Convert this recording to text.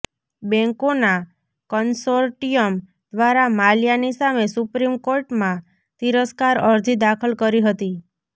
બેંકોના કન્સોર્ટિયમ દ્વારા માલ્યાની સામે સુપ્રીમ કોર્ટમાં તિરસ્કાર અરજી દાખલ કરી હતી